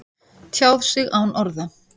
Tjáð sig án orða